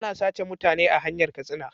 Ana sace mutane a hanyar katsina